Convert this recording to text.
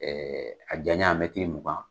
Ɛɛ a janya bɛ mɛtiri mugan.